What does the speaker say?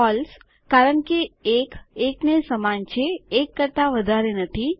ફળસે કારણ કે ૧ ૧ને સમાન છે ૧ કરતા વધારે નથી